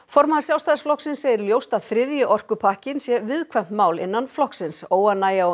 formaður Sjálfstæðisflokksins segir ljóst að þriðji orkupakkinn sé viðkvæmt mál innan flokksins óánægja og